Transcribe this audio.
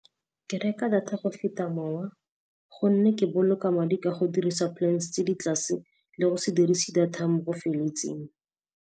Ke reka data go feta mowa gonne ke boloka madi ka go dirisa plans tse di tlase le go se dirise data mo bo feletseng.